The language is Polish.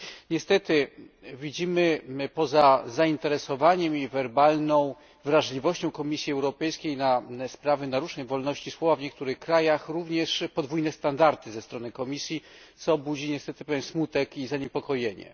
Niestety, poza zainteresowaniem i werbalną wrażliwością Komisji Europejskiej na sprawy naruszeń wolności słowa w niektórych krajach, widzimy również podwójne standardy ze strony Komisji, co budzi niestety pewien smutek i zaniepokojenie.